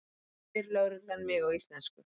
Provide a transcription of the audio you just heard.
spyr lögreglan mig á íslensku.